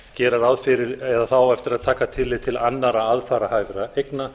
gera ráð fyrir eða það á eftir að taka tillit til annarra aðfararhæfra eigna